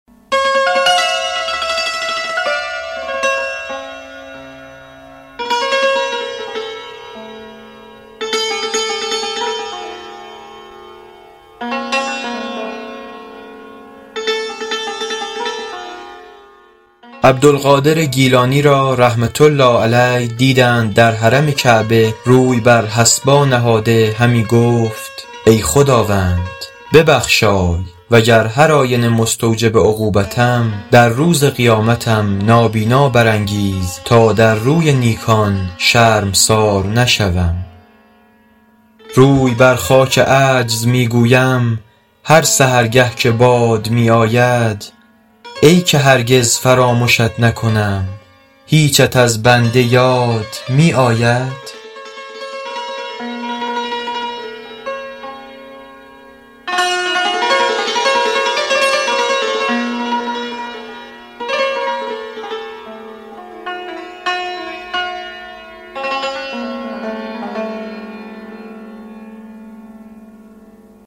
عبدالقادر گیلانی را رحمة الله علیه دیدند در حرم کعبه روی بر حصبا نهاده همی گفت ای خداوند ببخشای وگر هرآینه مستوجب عقوبتم در روز قیامتم نابینا برانگیز تا در روی نیکان شرمسار نشوم روی بر خاک عجز می گویم هر سحرگه که باد می آید ای که هرگز فرامشت نکنم هیچت از بنده یاد می آید